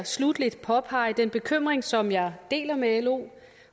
påpege den bekymring som jeg deler med lo